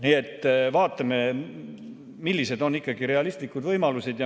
Nii et vaatame, millised on realistlikud võimalused.